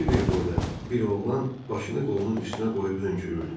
Kiber boyda bir oğlan başını qolunun üstünə qoyub hönkürürdü.